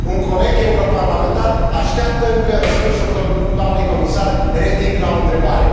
Un coleg europarlamentar așteaptă, încă, răspunsul doamnei Comisar Reding la o întrebare.